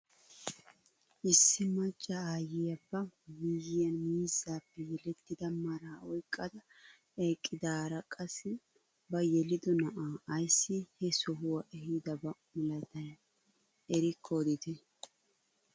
Issi macca aayiyaa ba miyiyaan miizzaappe yelettida maraa oyqqada eqqidaara qassi ba yelido na'aa ayssi he sohuwaa ehiidaba milatayii erikko odite?